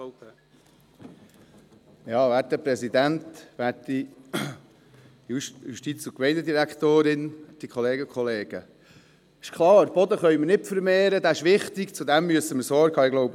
Boden können wir nicht vermehren, er ist wichtig und wir müssen Sorge dazu tragen.